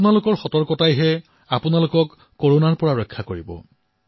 আপোনাৰ সতৰ্কতাই আপোনাক কৰোনাৰ পৰা ৰক্ষা কৰিব